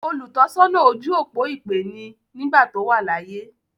“Olùtọ́sọ́nà ojú-òpó ìpè” ni nígbàtí ó wà láyé.